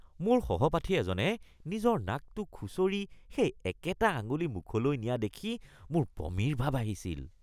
মোৰ সহপাঠী এজনে নিজৰ নাকটো খুঁচৰি সেই একেটা আঙুলি মুখলৈ নিয়া দেখি মোৰ বমিৰ ভাৱ আহিছিল